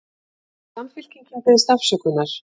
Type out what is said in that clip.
Samfylkingin biðst afsökunar